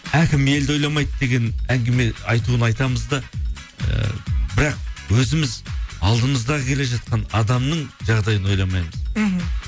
әкім елді ойламайды деген әңгіме айтуын айтамыз да ыыы бірақ өзіміз алдымызда келе жатқан адамның жағдайын ойламамыз мхм